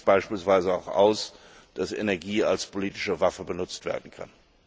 Das schließt beispielsweise auch aus, dass Energie als politische Waffe benutzt werden kann.